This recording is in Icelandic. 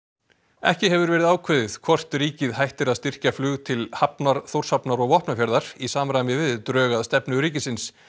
ekki hefur verið ákveðið hvort ríkið hættir að styrkja flug til Hafnar Þórshafnar og Vopnafjarðar í samræmi við drög að stefnu ríkisins